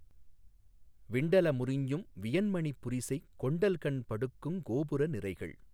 விண்டல முரிஞும் வியன்மணிப் புரிசைக் கொண்டல்கண் படுக்குங் கோபுர நிரைகள்